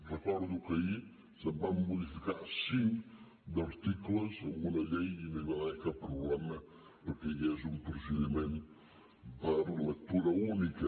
recordo que ahir se’n van modificar cinc d’articles en una llei i no hi va haver cap problema perquè hi hagués un procediment per lectura única